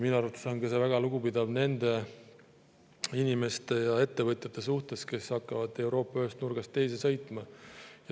Minu arvates on see väga lugupidav nende inimeste ja ettevõtjate suhtes, kes hakkavad Euroopa ühest nurgast teise sõitma.